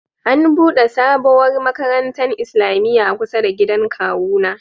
An'bude sabowar makarantan islamia kusa da gidan kawu na.